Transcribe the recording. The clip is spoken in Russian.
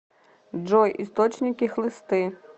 джой источники хлысты